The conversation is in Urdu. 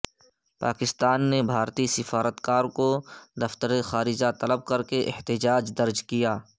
پاکستان نے بھارتی سفارتکار کو دفتر خارجہ طلب کرکے احتجاج درج کیا